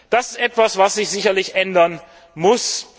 Das ist etwas, was sich sicherlich ändern muss.